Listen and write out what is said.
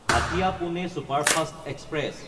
Hatia-Pune superfast express